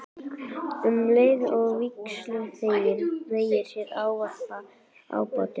Um leið og vígsluþeginn hneigir sig ávarpar ábótinn hann